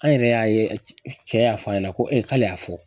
An yɛrɛ y'a ye cɛ y'a fɔ a ɲɛna ko ee k'ale y'a fɔ.